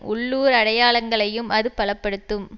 உள்ளூர் அடையாளங்களையும் அது பல படுத்தும்